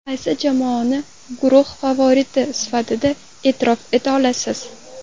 Qaysi jamoani guruh favoriti sifatida e’tirof eta olasiz?